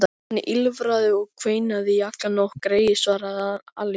Hann ýlfraði og kveinaði í alla nótt, greyið, svaraði Alli.